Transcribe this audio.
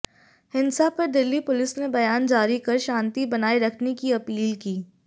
हिंसा पर दिल्ली पुलिस ने बयान जारी कर शांति बनाए रखने की अपील की